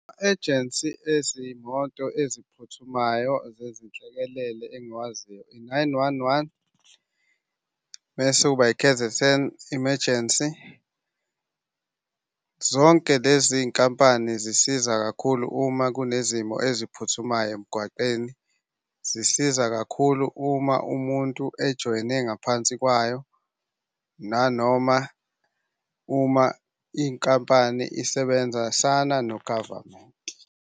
Ejensi ezimoto eziphuthumayo zezinhlekelele engiwaziyo i-nine one one, mese kuba i-K_Z_N Emergency. Zonke lezi nkampani zisiza kakhulu uma kunezimo eziphuthumayo emgwaqeni. Zisiza kakhulu uma umuntu ejoyine ngaphansi kwayo nanoma uma inkampani isebenzisana no-government.